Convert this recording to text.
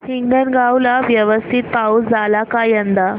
हिंगणगाव ला व्यवस्थित पाऊस झाला का यंदा